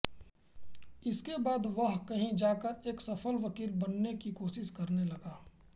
इसके बाद वह कहीं जाकर एक सफल वकील बनने की कोशिश करने लगा